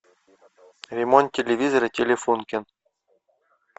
ремонт телевизора телефонкин